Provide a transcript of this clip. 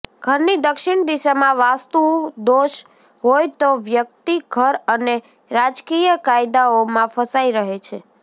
ઘરની દક્ષિણ દિશામાં વાસ્તુ દોષ હોય તો વ્યક્તિ ઘર અને રાજકીય કાયદાઓમાં ફસાઈ રહે છે